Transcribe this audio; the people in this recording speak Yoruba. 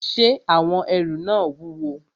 Ṣé àwọn ẹrù náà wúwo?